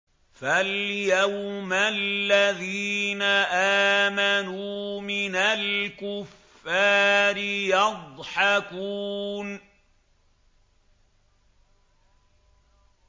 فَالْيَوْمَ الَّذِينَ آمَنُوا مِنَ الْكُفَّارِ يَضْحَكُونَ